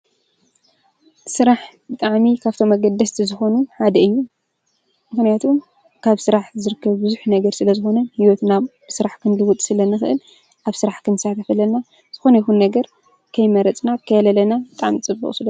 ጥኣሚ ካብቶ መገደስቲ ዝኾኑ ሓደ እዩ ምከንያቱ ካብ ሥራሕ ዘርከብ ብዙኅ ነገር ስለ ዝኾነን ሕይወትናብ ብሥራሕ ክንዲውጥ ስለ ንኽእል ኣብ ሥራሕ ኽንሳ ተፈለና ዝኾኑ ይኹን ነገር ከይመረጽና ከየለለና እጣም ጽበቕ ሱሎ።